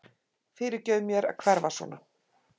Fyrirgefðu mér að hverfa svona.